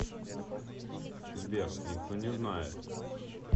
сбер никто не знает